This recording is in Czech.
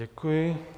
Děkuji.